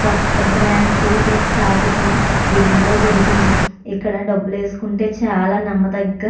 కొత్త బ్రాంచ్ దీని స్థాపితం ఢిల్లీ లో జరిగింది ఇక్కడ డబ్బులు వేసుకుంటే చాలా నమ్మదగ్గ --